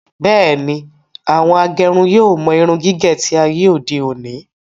Bẹ́ẹ̀ni, àwọn agẹrun yóò mọ irun gígé tí ayé òde òni